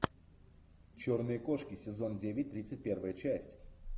черные кошки сезон девять тридцать первая часть